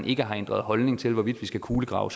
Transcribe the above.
ikke har ændret holdning til hvorvidt vi skal kulegrave